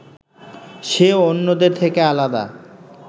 সে অন্যদের থেকে আলাদা